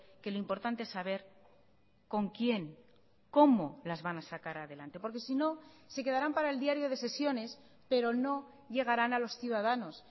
que lo importante es saber con quién cómo las van a sacar adelante porque sino se quedarán para el diario de sesiones pero no llegarán a los ciudadanos